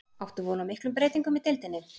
Áttu von á miklum breytingum í deildinni?